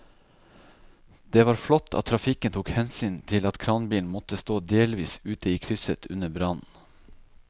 Det var flott at trafikken tok hensyn til at kranbilen måtte stå delvis ute i krysset under brannen.